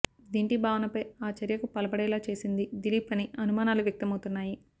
దింటి భావనపై ఆ చర్యకు పాల్పడేలా చేసింది దిలీప్ అని అనుమానాలు వ్యక్తమౌతున్నాయి